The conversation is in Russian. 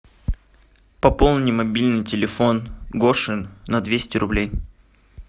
пополни мобильный телефон гоши на двести рублей